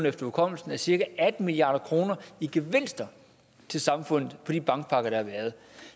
efter hukommelsen er cirka atten milliard kroner i gevinster til samfundet på de bankpakker der har været